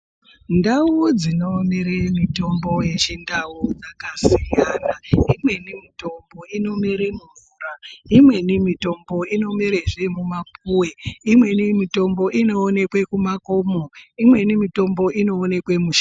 Ndau dzinomere mitombo yechindau dzakasiyana. Imweni mitombo inomere mumvura, imweni mitombo inomerezve mumapuwe, imweni mitombo inowonekwe kumakomo, imweni mitombo inowonekwe mushango.